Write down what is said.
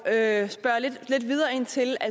er at